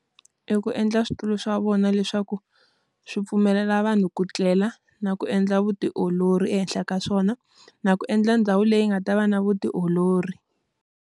I ku endla switulu swa vona leswaku, swi pfumelela vanhu ku tlela na ku endla vutiolori ehenhla ka swona. Na ku endla ndhawu leyi nga ta va na vutiolori.